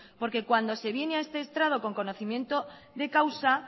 porque cuando se viene a este estrado con conocimiento de causa